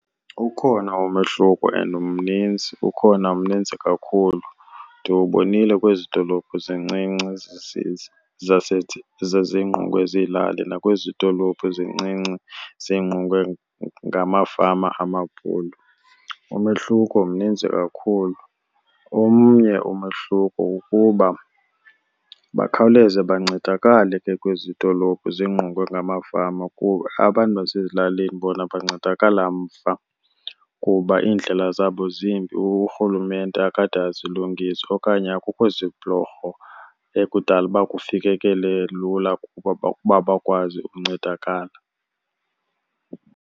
Ukhona umehluko and mninzi, ukhona mnintsi kakhulu, ndiwubonile kwezi dolophu zincinci zezingqungwe ziilali nakwezi dolophu zincinci zingqungwe ngamafama amabhulu, umehluko mininzi kakhulu. Omnye umehluko kukuba bakhawuleze bancedakale ke kwezi dolophu zingqongwe ngamafama kuba abantu basezilalini bona bancedakala mva, kuba iindlela zabo zimbi uRhulumente akade azilungise. Okanye akukho zibhulorho ekudala uba kufikekele lula ukuba , uba bakwazi ukuncedakala.